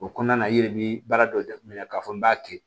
O kɔnɔna na i yɛrɛ bi baara dɔ jateminɛ k'a fɔ n b'a kɛ